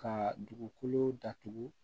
Ka dugukolo datugu